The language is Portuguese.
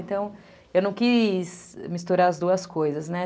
Então, eu não quis misturar as duas coisas, né?